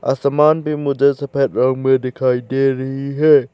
असमान भी मुझे सफेद रंग में दिखाई दे रही है।